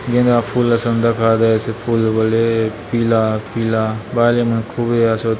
गेंदा फूल असन दखा देयसे फूल बले पीला पीला बायले मन खूबे आसोत।